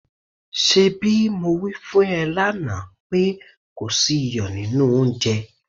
ṣebí mo wí fún ẹ lánàá pé kò sí iyọ̀ nínú oúnjẹ?